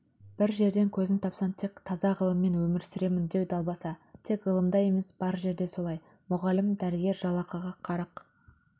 бір жерден көзін таппасаң тек таза ғылыммен өмір сүремін деу далбаса тек ғылымда емес бар жерде солай мұғалім дәрігер жалақыға қарық